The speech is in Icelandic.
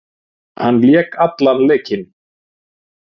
Hann lék allan leikinn